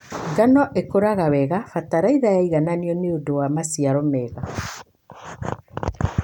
Ngano ĩkũraga wega bataraitha yaigananio nĩũndũ wa maciaro mega.